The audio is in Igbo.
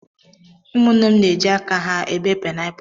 Ụmụnne m na-eji aka ha ebe paịnapụlụ.